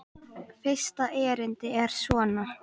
Fyrsta erindi er svona